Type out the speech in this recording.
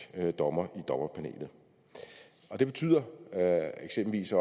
dommer i dommerpanelet det betyder eksempelvis